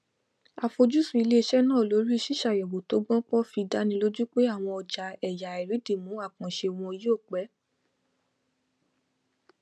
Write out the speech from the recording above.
àfojúsùn iléisẹ náà lorí ṣíṣàyẹwò tó gbópọn fí dánilójú pé àwọn ọjà ẹyà àìrídìmù àkànṣe wọn yóò pé